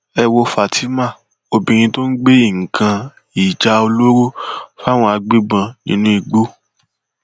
ẹ wo fatima obìnrin tó ń gbé nǹkan ìjà olóró fáwọn agbébọn nínú igbó